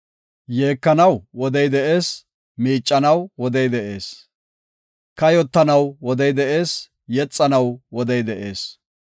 Yeekanaw wodey de7ees; miiccanaw wodey de7ees. Kayotanaw wodey de7ees; yexanaw wodey de7ees.